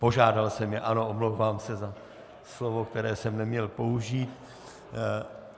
Požádal jsem je, ano, omlouvám se za slovo, které jsem neměl použít.